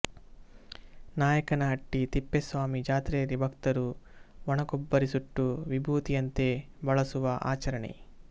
ನಾಯಕನಹಟ್ಟಿ ತಿಪ್ಪೇಸ್ವಾಮಿ ಜಾತ್ರೆಯಲ್ಲಿ ಭಕ್ತರು ಒಣಕೊಬ್ಬರಿ ಸುಟ್ಟು ವಿಭೂತಿಯಂತೆ ಬಳಸುವ ಆಚರಣೆ